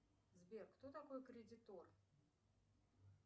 сбер кто такой кредитор